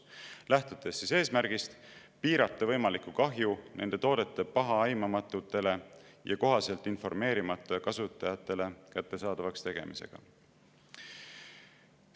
Nad lähtuvad eesmärgist piirata võimalikku kahju nende toodete pahaaimamatutele ja kohaselt informeerimata kasutajatele kättesaadavaks tegemisega.